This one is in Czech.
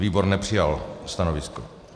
Výbor nepřijal stanovisko.